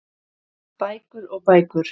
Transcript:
Bækur og bækur.